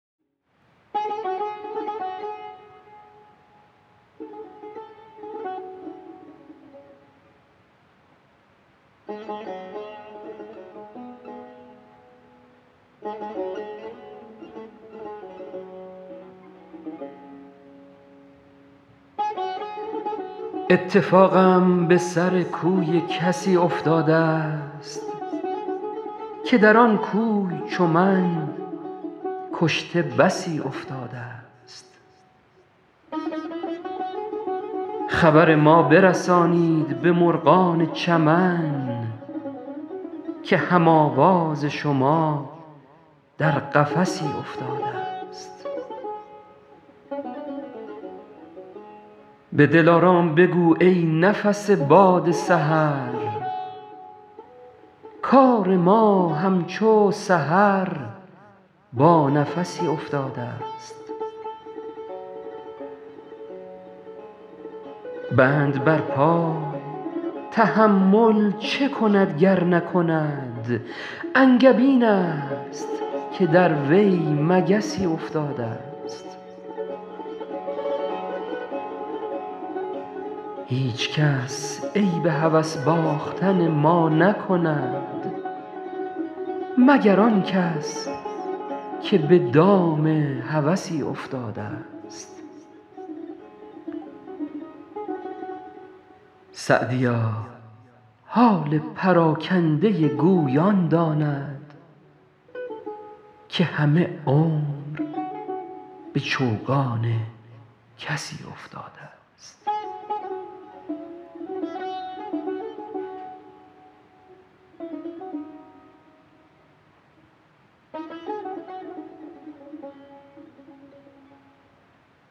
اتفاقم به سر کوی کسی افتاده ست که در آن کوی چو من کشته بسی افتاده ست خبر ما برسانید به مرغان چمن که هم آواز شما در قفسی افتاده ست به دلارام بگو ای نفس باد سحر کار ما همچو سحر با نفسی افتاده ست بند بر پای تحمل چه کند گر نکند انگبین است که در وی مگسی افتاده ست هیچکس عیب هوس باختن ما نکند مگر آن کس که به دام هوسی افتاده ست سعدیا حال پراکنده گوی آن داند که همه عمر به چوگان کسی افتاده ست